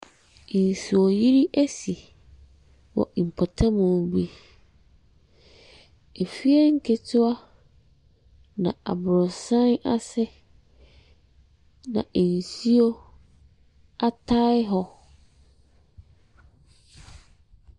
Nsuoyiri asi wɔ mpɔtamu bi. Afie nketewa na aborɔsan ase na nsuo atae hɔ.